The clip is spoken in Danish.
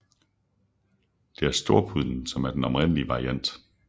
Det er storpudlen som er den oprindelige variant